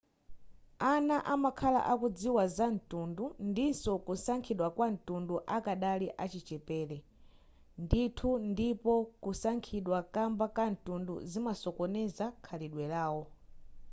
ana amakhala akudziwa za mtundu ndinso kusankhidwa kwamtundu akadali achichepere ndithu ndipo kusankhidwa kamba ka mtundu zimasokoneza khalidwe lawo